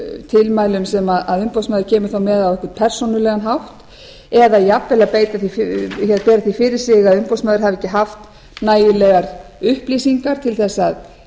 tilmælum sem umboðsmaður kemur þá með á einhvern persónulegan hátt eða jafnvel að bera því fyrir sig að umboðsmaður hafi haft nægilegar upplýsingar til að